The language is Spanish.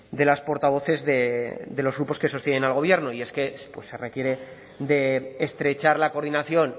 de las portavoces de los grupos que sostienen al gobierno y es que se requiere de estrechar la coordinación